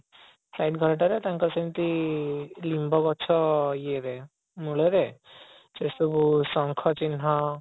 side ଘରଟାରେ ତାଙ୍କର ସେମିତି ନିମ୍ବ ଗଛ ଇଏ ରେ ମୂଳରେ ସେସବୁ ଶଙ୍ଖ ଚିହ୍ନ